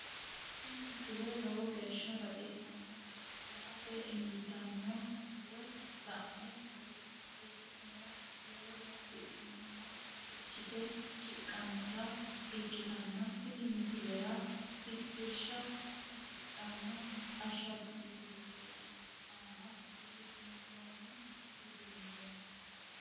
tini misile lowo geeshsha baxissannote la"ate injiitanno woy la'ne ronsannire lowore afidhinota ikkite shiqqinota ikkitanna tini misilera tittirsha hasidhanno ashaangullittete aana uddisiinsoonni uduunneeti.